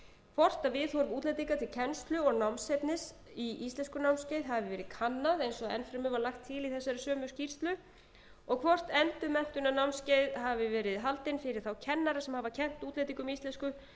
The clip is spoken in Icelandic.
hvort viðhorf útlendinga til kennslu og námsefnis hafi verið kannað eins og enn fremur var lagt til í þessari sömu skýrslu og hvort endurmenntunarnámskeið hafi verið haldin fyrir þá kennara sem hafa kennt útlendingum íslensku